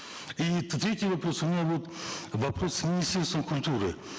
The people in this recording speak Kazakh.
и третий вопрос у меня вот вопрос министерству культуры